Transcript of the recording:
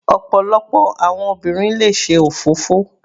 Ọ̀pọ̀lọpọ̀ àwọn obìnrin le ṣe òfófó.